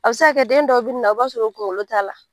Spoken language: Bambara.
A bɛ se ka kɛ den dɔ bi na i b'a sɔrɔ o kunkolo t'a la